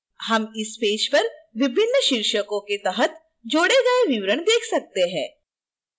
हम इस पेज पर विभिन्न शीर्षकों के तहत जोड़े गए विवरण देख सकते हैं